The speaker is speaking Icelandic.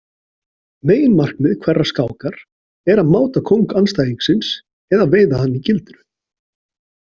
Meginmarkmið hverrar skákar er að máta kóng andstæðingsins eða veiða hann í gildru.